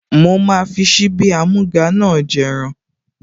Ó máa fi síbí amúga náà jẹ ẹran